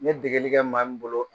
N ye degeli kɛ maa min bolo